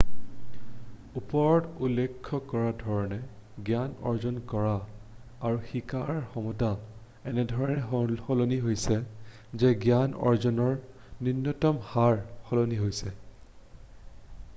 ওপৰত উল্লেখ কৰা ধৰণে জ্ঞান অৰ্জন কৰা আৰু শিকাৰ ক্ষমতা এনেধৰণে সলনি হৈছে যে জ্ঞান অৰ্জনৰ নূন্যতম হাৰ সলনি হৈছে